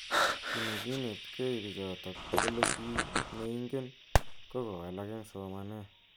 Ki nekinetkei bichotok kole ki neingen ko kowalak eng somanet.